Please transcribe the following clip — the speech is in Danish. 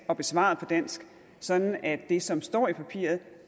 er besvaret på dansk sådan at det som står i papiret